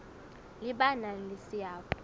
le ba nang le seabo